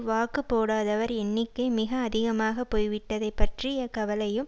வாக்குப்போடாதவர் எண்ணிக்கை மிக அதிகமாக போய்விட்டதை பற்றிய கவலையும்